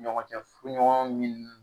Ɲɔgɔncɛ furuɲɔgɔn Ɲinini